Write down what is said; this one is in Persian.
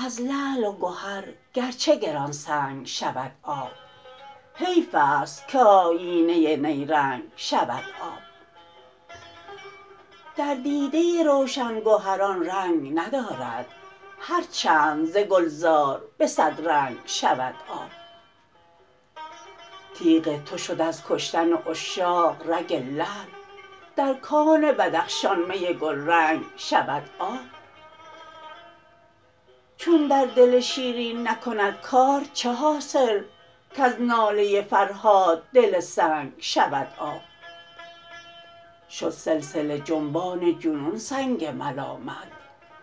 از لعل و گهر گرچه گرانسنگ شود آب حیف است که آیینه نیرنگ شود آب در دیده روشن گهران رنگ ندارد هر چند ز گلزار به صد رنگ شود آب تیغ تو شد از کشتن عشاق رگ لعل در کان بدخشان می گلرنگ شود آب چون در دل شیرین نکند کار چه حاصل کز ناله فرهاد دل سنگ شود آب شد سلسله جنبان جنون سنگ ملامت